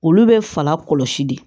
Olu bɛ fala kɔlɔsi de